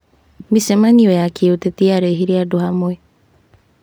Micemanio ya kĩũteti yarehire andũ hamwe.